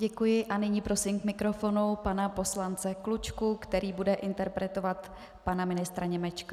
Děkuji a nyní prosím k mikrofonu pana poslance Klučku, který bude interpelovat pana ministra Němečka.